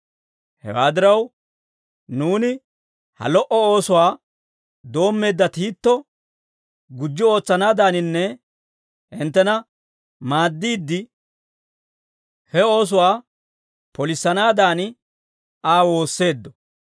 Hewaa diraw, nuuni ha lo"o oosuwaa doommeedda Tiito gujji ootsanaadaninne hinttena maaddiide, he oosuwaa polissanaadan Aa woosseeddo.